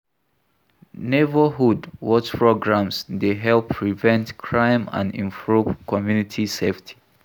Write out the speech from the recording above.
Neighborhood watch programs dey help prevent crime and improve community safety.